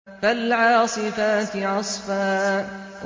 فَالْعَاصِفَاتِ عَصْفًا